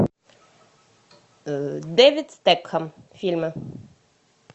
дэвид стэтхэм фильмы